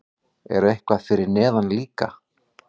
Er eitthvað fyrir neðan líka?